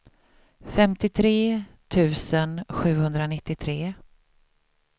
femtiotre tusen sjuhundranittiotre